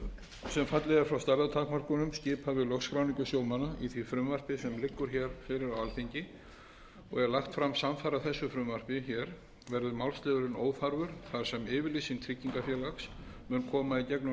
skipa við lögskráningu sjómanna í því frumvarpi sem liggur hér fyrir á alþingi og er lagt fram samfara þessu frumvarpi hér verður málsliðurinn óþarfur þar sem yfirlýsing tryggingafélags mun koma í gegnum